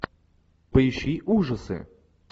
поищи ужасы